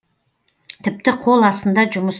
тіпті қол астында жұмыс